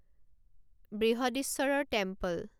বৃহদীশ্বৰৰ temple